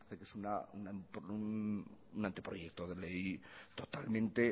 que es un anteproyecto de ley totalmente